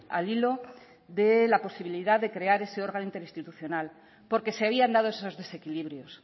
al hilo de la posibilidad de crear ese órgano interinstitucional porque se habían dado esos desequilibrios